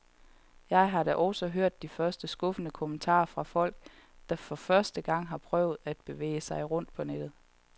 Jeg har da også hørt de første skuffede kommentarer fra folk, der for første gang har prøvet at bevæge sig rundt på nettet.